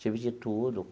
Tive de tudo.